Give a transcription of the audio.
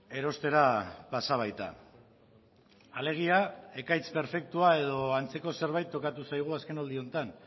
erostera pasa baita alegia ekaitz perfektua edo antzeko zerbait tokatu zaigu azkenaldi honetan